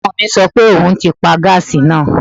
Ọmọ mi sọ pé òun ti pa gáàsì náà